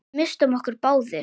Við misstum okkur báðir.